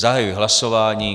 Zahajuji hlasování.